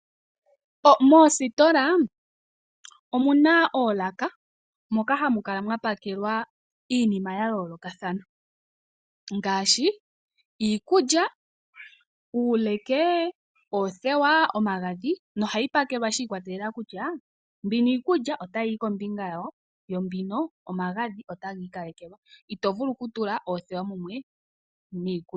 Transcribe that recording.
Moositola omuna oolaka moka hamukala mwapakelwa iinima yayoolokathana ngaashi, iikulya, uuleke, oothewa, omagadhi na ohayi pakelwa shi ikwatelela kutya mbino iikulya otayi yi kombinga yawo, yo mbino omagadhi otagi ikalekelwa, ito vulu okutula oothewa mumwe niikulya.